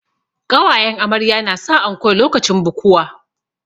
Ƙawayen amarya na sa anko lokacin bukuwa